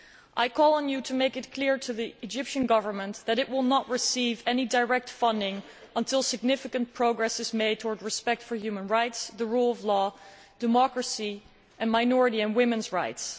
I call on you to make it clear to the Egyptian Government that it will not receive any direct funding until significant progress is made towards respect for human rights, the rule of law, democracy, and minority and women's rights.